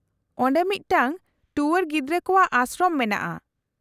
-ᱚᱸᱰᱮ ᱢᱤᱫᱴᱟᱧᱝ ᱴᱩᱣᱟᱹᱨ ᱜᱤᱫᱽᱨᱟᱹ ᱠᱚᱣᱟᱜ ᱟᱥᱨᱚᱢ ᱢᱮᱱᱟᱜᱼᱟ ᱾